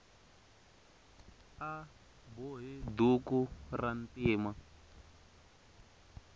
a bohe duku rantima